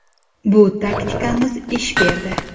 Bu taktikamiz ish berdi.